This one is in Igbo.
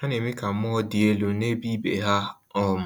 Ha na-eme ka mmụọ dị elu n’ebe ibe ha um